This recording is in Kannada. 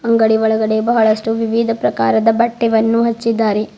ಅಂಗಡಿ ಒಳಗಡೆ ಬಹಳಷ್ಟು ವಿವಿಧ ಪ್ರಕಾರದ ಬಟ್ಟೆವನ್ನು ಹಚ್ಚಿದ್ದಾರೆ.